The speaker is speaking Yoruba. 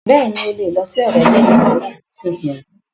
Bẹ́ẹ̀ni, o lè lọ sí ọ̀dọ̀ gẹ́nẹ́rà náà nísìínyi